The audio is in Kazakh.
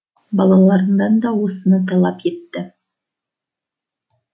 балаларынан да осыны талап етті